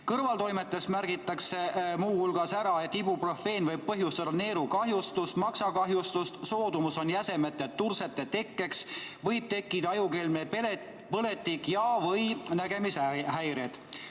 Kõrvaltoimetest märgitakse muu hulgas ära, et ibuprofeen võib põhjustada neerukahjustust ja maksakahjustust, soodumust jäsemete tursete tekkeks, võib tekkida ajukelmepõletik ja/või nägemishäired.